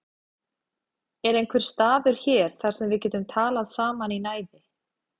Er einhver staður hér þar sem við getum talað saman í næði?